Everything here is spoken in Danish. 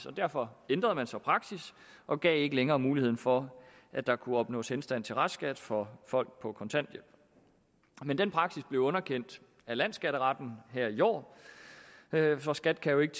og derfor ændrede man så praksis og gav ikke længere muligheden for at der kunne opnås henstand til restskat for folk på kontanthjælp men den praksis blev underkendt af landsskatteretten her i år for skat kan jo ikke